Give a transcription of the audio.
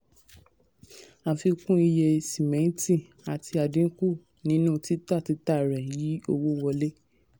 àfikún iye sìmẹ́ntì àti àdínkù nínú tita tita rẹ̀ yí owó wọlé.